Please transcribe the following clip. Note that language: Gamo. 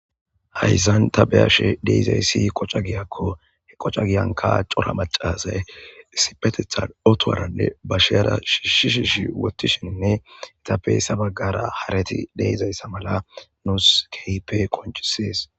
hayzan ta beyashe deizayssi qocca giyakko he qoca giyanka cora macazay sipetethan otowaranne ba sheara shiishishishi wottishinne etappey sabaggara harati deezayssa mala nuus keype qoncisees